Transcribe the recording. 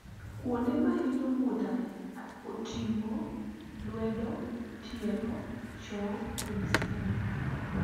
kuonde mahinyo kuot oting'o lwedo ,tielo, chong kod sianda